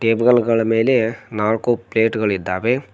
Table ಗಳ ಮೇಲೆ ನಾಲ್ಕು ಪ್ಲೇಟ್ ಗಳು ಇದ್ದಾವೆ.